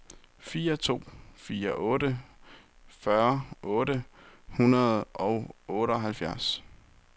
fire to fire otte fyrre otte hundrede og otteoghalvfjerds